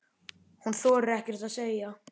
Hún þorir ekkert að segja.